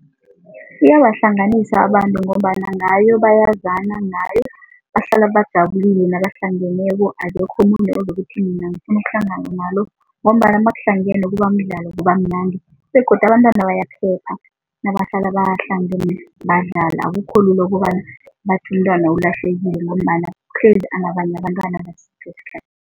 Iyabahlanganisa abantu ngombana ngayo bayazana, ngayo bahlala bajabulile nabahlangeneko, akekho umuntu ozokuthi mina ngifuna ukuhlangana nalo. Ngombana nakuhlangene kubamdlalo, kubamnandi begodu abantwana bayaphepha nabahlala bahlangene badlala. Akukho lula ukobana bathi umntwana ulahlekile ngombana uhlezi anabanye abentwana